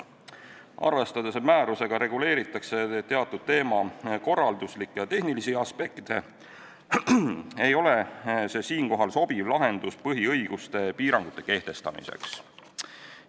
Arvestades, et määrusega reguleeritakse teatud teema korralduslikke ja tehnilisi aspekte, ei ole see siinkohal sobiv lahendus põhiõiguste piirangute kehtestamiseks.